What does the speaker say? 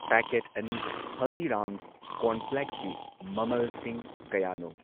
packet ꯑꯅꯤ ꯍꯜꯗꯤꯔꯥꯝꯁ ꯀꯣꯔꯟꯐ꯭ꯂꯦꯛꯁꯀꯤ ꯃꯃꯜꯁꯤꯡ ꯀꯌꯥꯅꯣ